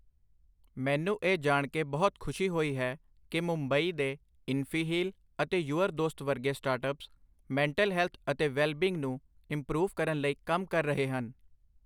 ਮੈਨੂੰ ਇਹ ਜਾਣ ਕੇ ਬਹੁਤ ਖੁਸ਼ੀ ਹੋਈ ਹੈ ਕੀ ਮੁੰਬਈ ਦੇ ਇਨਫੀਹੀਲ ਅਤੇ ਯੂਅਰ ਦੋਸਤ ਵਰਗੇ ਸਟਾਰਟਅੱਪਸ, ਮੈਂਟਲ ਹੈਲਥ ਅਤੇ ਵੈਲ ਬੀਂਗ ਨੂੰ ਇੰਪਰੂਵ ਕਰਨ ਲਈ ਕੰਮ ਕਰ ਰਹੇ ਹਨ।